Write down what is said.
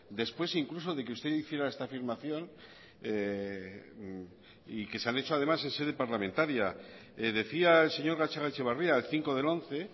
después incluso de que usted hiciera esta afirmación y que se han hecho además en sede parlamentaria decía el señor gatzagaetxebarria el cinco del once